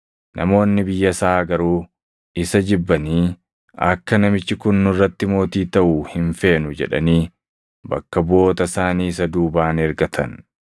“Namoonni biyya isaa garuu isa jibbanii, ‘Akka namichi kun nurratti mootii taʼu hin feenu!’ jedhanii bakka buʼoota isaanii isa duubaan ergatan.